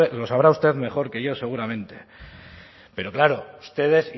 lo sabrá usted mejor que yo seguramente pero claro ustedes